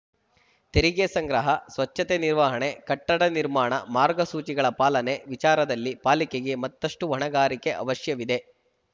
ತೆರಿಗೆ ಸಂಗ್ರಹ ಸ್ವಚ್ಛತೆ ನಿರ್ವಹಣೆ ಕಟ್ಟಡ ನಿರ್ಮಾಣ ಮಾರ್ಗಸೂಚಿಗಳ ಪಾಲನೆ ವಿಚಾರದಲ್ಲಿ ಪಾಲಿಕೆಗೆ ಮತ್ತಷ್ಟುಹೊಣೆಗಾರಿಕೆ ಅವಶ್ಯವಿದೆ